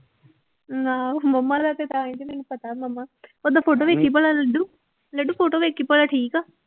ਆਹੋ ਮੰਮਾ ਦਾ ਤੇ talent ਮੈਨੂੰ ਪਤਾ ਮੰਮਾ ਓਦਾਂ photo ਵੇਖੀ ਭਲਾਂ ਲੱਡੂ ਲੱਡੂ photo ਵੇਖੀ ਭਲਾਂ ਠੀਕ ਆ।